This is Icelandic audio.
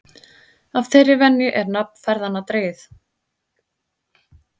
Af þeirri venju er nafn ferðanna dregið.